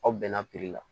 Aw bɛnna la